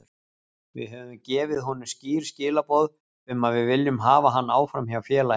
Við höfum gefið honum skýr skilaboð um að við viljum hafa hann áfram hjá félaginu.